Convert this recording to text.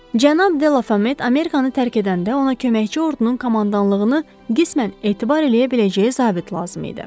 Cənab de La Fayet Amerikanı tərk edəndə ona köməkçi ordunun komandanlığını qismən etibar eləyə biləcəyi zabit lazım idi.